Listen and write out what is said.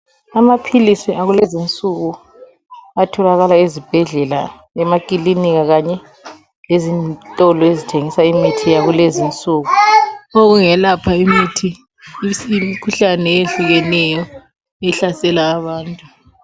Amaphilisi akulezi insuku atholakala ezibhedlela, emakilinika kanye lezitolo ezithengisa imithi yakulezi insuku, okungelapha imikhuhlane eyehlukeneyo ehlasela abantu.